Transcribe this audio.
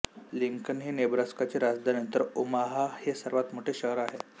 Lincoln ही नेब्रास्काची राजधानी तर ओमाहा हे सर्वात मोठे शहर आहे